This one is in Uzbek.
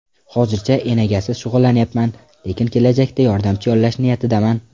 Hozircha enagasiz shug‘ullanyapman, lekin kelajakda yordamchi yollash niyatidaman.